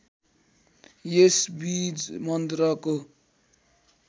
यस बीज मन्त्रको